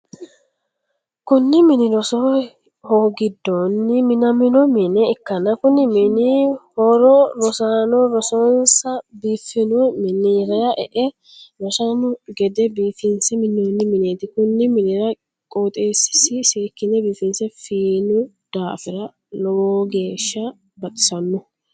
Kunni minni roso hoogidonni minnamino mine ikanna konni minni horo rosaano rosonsa biifino minnira e'e rosano gede biifinse minoonni mineeti. Konni minnira qoxeesasi seekine biifinse fiino daafira logeesha baxisano.